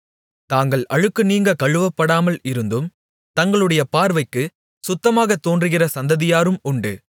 தாங்கள் அழுக்கு நீங்க கழுவப்படாமல் இருந்தும் தங்களுடைய பார்வைக்குச் சுத்தமாகத் தோன்றுகிற சந்ததியாரும் உண்டு